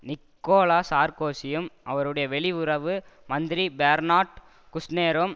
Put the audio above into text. Nicolas சார்கோசியும் அவருடைய வெளி உறவு மந்திரி பேர்னார்ட் குஷ்நெரும்